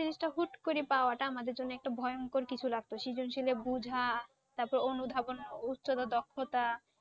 জিনিসটা হুট করে পাওয়াটা আমাদের জন্যে একটা ভয়ঙ্কর কিছু লাগতো। বুজা তারপর অনুধাবন ও উত্তরও দক্ষতা